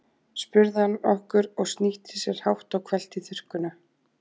spurði hann okkur og snýtti sér hátt og hvellt í þurrkuna.